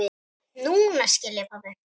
Núna skil ég, pabbi.